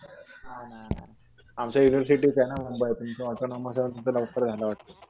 नाही नाही नाही. आमचं युनिव्हर्सिटीचं आहे ना मुंबई. तुमचं ऑटोनॉमस आहे म्हणून तुमचं लवकर झालं वाटतं.